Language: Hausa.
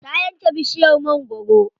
Ta yanke bishiyar mangwaro.